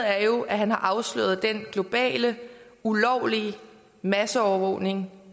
er jo at han har afsløret den globale ulovlige masseovervågning